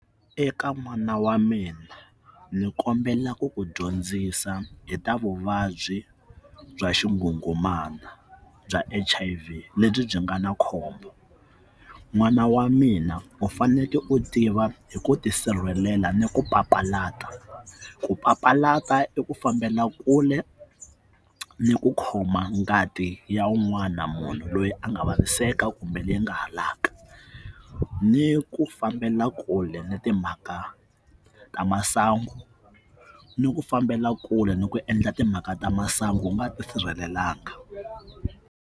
Eka mana wa mina ni kombelaka ku ku dyondzisa hi ta vuvabyi bya xingungumana bya H_I_V lebyi byi nga na khombo n'wana wa mina u fanele u tiva hi ku tisirhelela ni ku papalata ku papalata i ku fambela kule ni ku khoma ngati ya un'wana munhu loyi a nga va hiseka kumbe leyi nga halaka ni ku fambela kule na timhaka ta masangu ni ku fambela kule ni ku endla timhaka ta masangu wu nga tisirhelelanga.